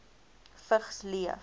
vigs leef